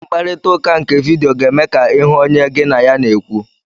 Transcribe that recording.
Mkparịta ụka nke vidiyo ga-eme ka ịhụ onye gị na ya na-ekwu.